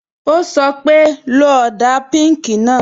Ó sọ pé, "lo ọ̀dà píùnkì náà"